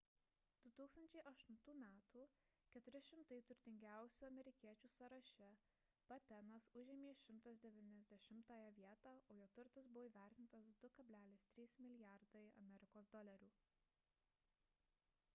2008 m 400 turtingiausių amerikiečių sąraše battenas užėmė 190-ąją vietą o jo turtas buvo įvertintas 2,3 mlrd usd